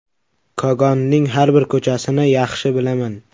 Kogonning har bir ko‘chasini yaxshi bilaman.